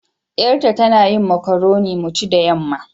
Yar ta, tana yin macoroni mu ci da yamma.